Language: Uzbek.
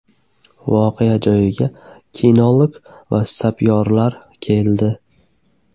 Voqea joyiga kinolog va sapyorlar keldi.